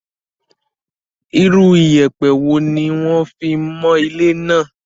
Irú ìyẹ̀pẹ̀ wo ni wón fi mọ ilé náà?